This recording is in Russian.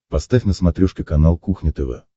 поставь на смотрешке канал кухня тв